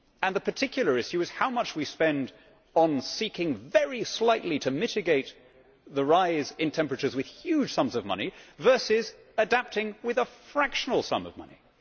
The particular issue is how much we spend on seeking very slightly to mitigate the rise in temperatures with huge sums of money, versus adapting with a fractional sum of money.